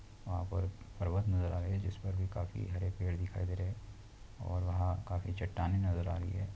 और वहाँ पर पर्वत नज़र आ रहे हैं जिस पर भी काफी हरे पेड़ दिख रहे हैं और वहाँ काफी चट्टानें नज़र आ रही हैं।